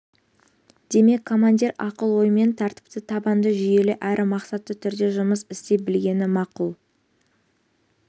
демек командир ақыл-оймен тәртіпті табанды жүйелі әрі мақсатты түрде жұмыс істей білгені мақұл